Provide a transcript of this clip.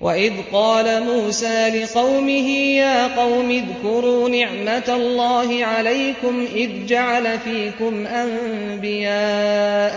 وَإِذْ قَالَ مُوسَىٰ لِقَوْمِهِ يَا قَوْمِ اذْكُرُوا نِعْمَةَ اللَّهِ عَلَيْكُمْ إِذْ جَعَلَ فِيكُمْ أَنبِيَاءَ